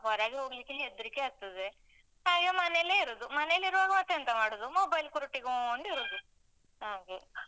ಹೊರಗೆ ಹೋಗ್ಲಿಕ್ಕೆ ಹೆದ್ರಿಕೆ ಆಗ್ತದೆ. ಹಾಗೆ ಮನೆಯಲ್ಲೇ ಇರುದು. ಮನೆಯಲ್ಲಿರುವಾಗ ಮತ್ತೆಂತ ಮಾಡುದು? mobile ಕುರಿಟಿಕೊಂಡ್ ಇರುದ್ ಹಾಗೆ